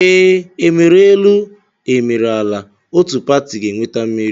Ee, e mere elu e mere ala, otu pati ga-enweta mmeri